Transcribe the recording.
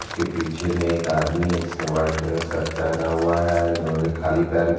उसके पीछे एक आदमी है जिसने व्हाइट रंग का शर्ट पहना हुआ है इन्होने खली पैर भी--